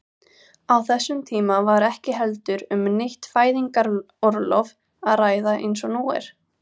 Á þessum tíma var ekki heldur um neitt fæðingarorlof að ræða eins og nú er.